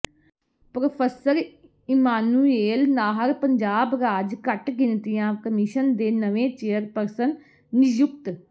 professor Emmanuel Nahar Punjab ਰਾਜ ਘੱਟਗਿਣਤੀਆਂ commission ਦੇ ਨਵੇਂ ਚੇਅਰਪਰਸਨ ਨਿਯੁਕਤ